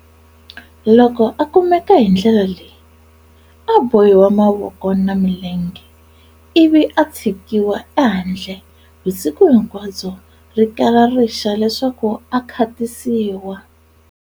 Loko a kumeka hindlela leyi, a a bohiwa mavoko na milenge ivi a tshikiwa e handle vusiku hinkwabyo, rikala rixa leswaku a khatisiwa.